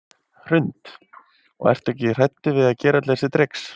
Hrund: Og ertu aldrei hræddur að vera gera öll þessi trix?